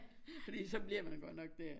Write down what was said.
Fordi så bliver man godt nok der